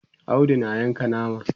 Audu na Yanka nama